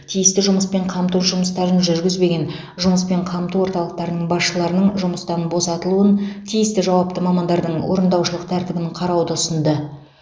тиісті жұмыспен қамту жұмыстарын жүргізбеген жұмыспен қамту орталықтарының басшыларының жұмыстан босатылуын тиісті жауапты мамандардың орындаушылық тәртібін қарауды ұсынды